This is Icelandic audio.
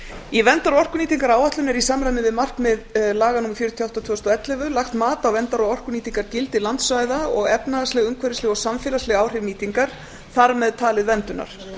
í verndar og orkunýtingaráætluninni er í samræmi við markmið laga númer fjörutíu og átta tvö þúsund og ellefu lagt mat á verndar og orkunýtingargildi landsvæða og efnahagsleg umhverfisleg og samfélagsleg áhrif nýtingar þar með talið verndunar